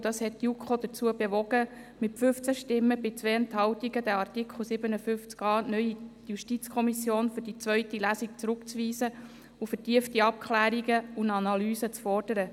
Das hat die JuKo mit 15 Stimmen bei 2 Enthaltungen dazu bewogen, den Artikel 57a (neu) für die zweite Lesung zurückzuweisen und vertiefte Abklärungen und Analysen zu fordern.